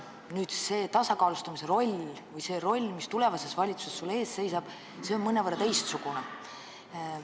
Aga see tasakaalustaja roll, mis sul tulevases valitsuses ees seisab, on mõnevõrra teistsugune.